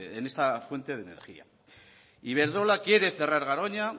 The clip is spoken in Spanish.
en esta fuente de energía iberdrola quiere cerrar garoña